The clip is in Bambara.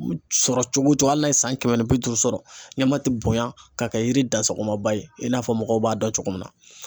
Sɔrɔ cogo o cogo hali n'a ye san kɛmɛ ni bi duuru sɔrɔ ɲɛma ti bonya ka kɛ yiri dansagomaba ye i n'a fɔ mɔgɔw b'a dɔn cogo min na